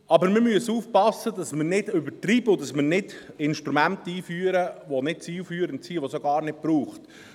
Aber wir müssen aufpassen, dass wir nicht übertreiben und dass wir keine Instrumente einführen, die nicht zielführend sind und die es auch gar nicht braucht.